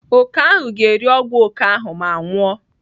Oke ahụ ga-eri ọgwụ oke ahụ ma nwụọ.